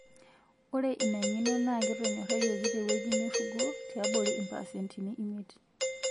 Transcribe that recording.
ore inangeno naa ketonyorayioki tewueji nirugo tiabori impaasentini imiet